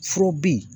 Foro bi